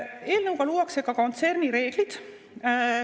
Eelnõuga luuakse ka kontsernireeglid.